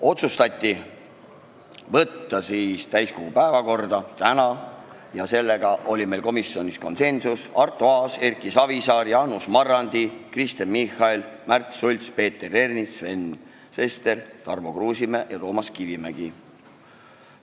Otsustati võtta eelnõu täiskogu päevakorda tänaseks ja sellega oli meil komisjonis konsensus: Arto Aas, Erki Savisaar, Jaanus Marrandi, Kristen Michal, Märt Sults, Peeter Ernits, Sven Sester, Tarmo Kruusimäe ja Toomas Kivimägi.